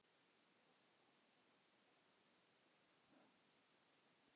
Með þessari aðferð vannst tvennt.